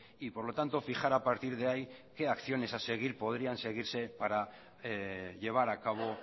y por lo tanto fijar a partir de ahí qué acciones a seguir podrían seguirse para llevar a cabo